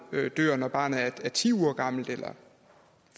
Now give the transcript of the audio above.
dør når barnet er ti uger gammelt eller